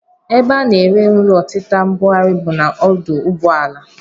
Ebe a na-ere nri ọtịta mbugharị bụ n'ọdụ ụgbọala